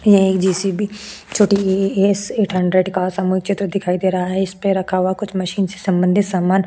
ये एक जेसीबी छोटी एस एट हंड्रेड का समुच्य तो दिखाई दे रहा है इसपे रखा कुछ मशीन से संबंधित सामान --